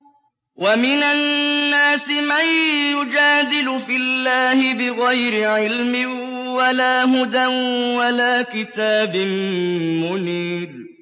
وَمِنَ النَّاسِ مَن يُجَادِلُ فِي اللَّهِ بِغَيْرِ عِلْمٍ وَلَا هُدًى وَلَا كِتَابٍ مُّنِيرٍ